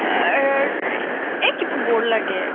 এই কিবা bore লাগে